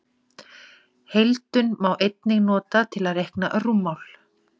Heildun má einnig nota til að reikna rúmmál.